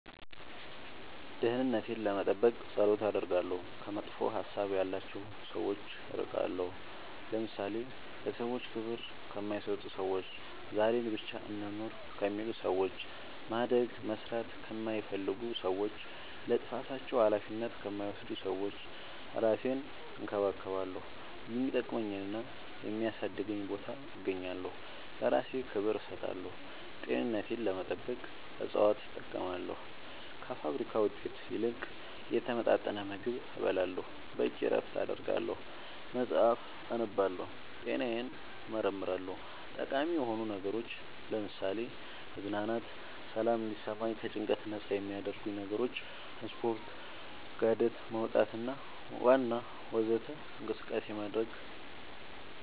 ደህንነቴን ለመጠበቅ ፀሎት አደርጋለሁ ከመጥፎ ሀሳብ ያላቸው ሰዎች እርቃለሁ ለምሳሌ ለሰዎች ክብር ከማይሰጡ ሰዎች ዛሬን ብቻ እንኑር ከሚሉ ሰዎች ማደግ መስራት ከማይፈልጉ ሰዎች ለጥፋታቸው አላፊነት ከማይወስዱ ሰዎች እራሴን እንከባከባለሁ የሚጠቅመኝና የሚያሳድገኝ ቦታ እገኛለሁ ለእራሴ ክብር እሰጣለሁ ጤንነቴን ለመጠበቅ እፅዋት እጠቀማለሁ ከፋብሪካ ውጤት ይልቅ የተመጣጠነ ምግብ እበላለሁ በቂ እረፍት አደርጋለሁ መፅአፍ አነባለሁ ጤናዬን እመረመራለሁ ጠቃሚ የሆኑ ነገሮች ለምሳሌ መዝናናት ሰላም እንዲሰማኝ ከጭንቀት ነፃ የሚያረጉኝ ነገሮች ስፓርት ጋደት መውጣት ዋና ወዘተ እንቅስቃሴ ማድረግ